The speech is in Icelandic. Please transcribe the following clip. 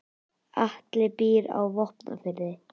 Atli býr á Vopnafirði.